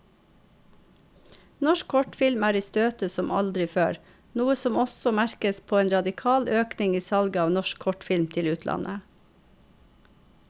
Norsk kortfilm er i støtet som aldri før, noe som også merkes på en radikal økning i salget av norsk kortfilm til utlandet.